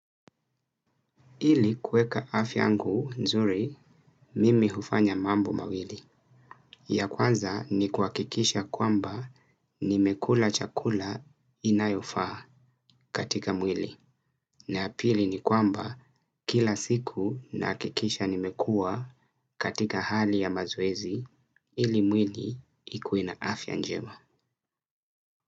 Ili kueka afya yangu nzuri, mimi hufanya mambo mawili. Ya kwanza ni kuhakikisha kwamba nimekula chakula inayofaa katika mwili. Na ya pili ni kwamba kila siku nahakikisha nimekua katika hali ya mazoezi ili mwili ikue na afya njema.